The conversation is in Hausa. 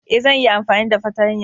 Ee, zan iya amfani da fartanya